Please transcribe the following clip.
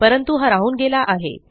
परंतु हा राहून गेला आहे